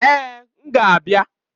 Èè! M ga-abịa.